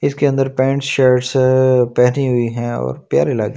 इसके अंदर pants shirts पहनी हुई है और प्यारी लग--